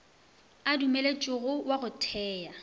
a dumeletšwego wa go thea